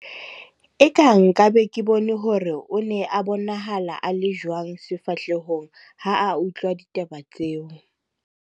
eka nka be ke bone hore o ne a bonahala a le jwang sefahlehong ha a utlwa ditaba tseo